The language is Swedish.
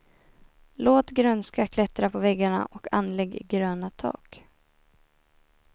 Låt grönska klättra på väggarna och anlägg gröna tak.